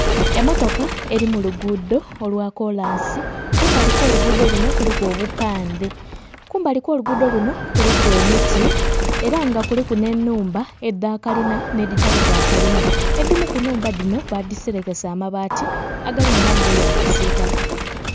Emmotoka eli mu luguudo olwa kolansi, kumbali kw'oluguudo luno kuliku obupandhe. Kumbali kw'oluguudo luno kuliku emiti ela nga kuliku nh'ennhumba edha kalina nh'edhitali dha kalina. Edhimu ku nnhumba dhino baadhiselekesa mabaati agalimu langi eya kisiitaka.